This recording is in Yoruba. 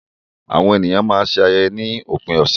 Àwọn ènìyàn a máa ṣe ayẹyẹ ni òpin ọ̀sẹ̀.